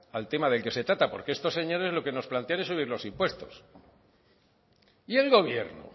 al tema del que se trata porque estos señores lo que nos plantean es subir los impuestos y el gobierno